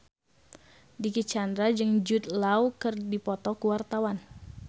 Dicky Chandra jeung Jude Law keur dipoto ku wartawan